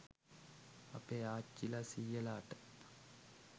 අපේ ආච්චිලා සීයලාට